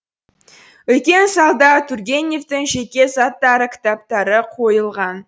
үлкен залда тургеневтің жеке заттары кітаптары қойылған